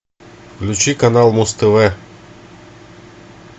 включи канал муз тв